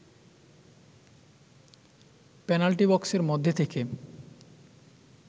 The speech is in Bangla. পেনাল্টি বক্সের মধ্যে থেকে